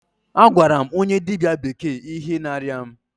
A gwara m onye dịbịa bekee ihe na-arịa mụ.